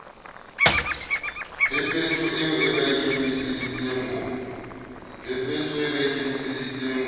phepetso eo ba ikemisetseng ho